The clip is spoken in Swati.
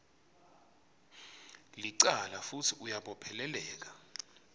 licala futsi uyabopheleleka